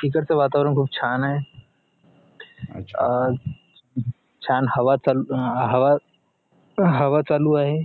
तिकडचं वातावरण खूप छान आहे अं छान हवा चालू अं हवा हवा चालू आहे